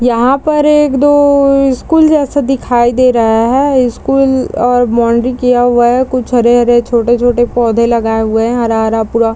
यहाँ पर एक-दो अअ स्कूल जैसा देखाई दे रहा हे स्कूल और बॉउंड्री किया हुआ हे कुछ हरे-हरे छोट-छोटे पौधे लगाए हुए हैं हरा-हरा पूरा --